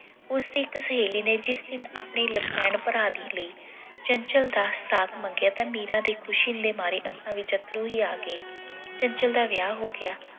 ਉਸਦੀ ਇੱਕ ਸਹੇਲੀ ਨੇ ਜਿਸ ਦਿਨ ਆਪਣੇ ਭਰਾ ਦੇ ਲਈ ਚੰਚਲ ਦਾ ਸਾਥ ਮੰਗਿਆ ਤਾਂ ਮੀਰਾ ਦੇ ਖੁਸ਼ੀ ਦੇ ਮਾਰੇ ਅੱਖਾਂ ਵਿੱਚ ਅੱਥਰੂ ਹੀ ਆ ਗਏ। ਚੰਚਲ ਦਾ ਵਿਆਹ ਹੋ ਗਿਆ।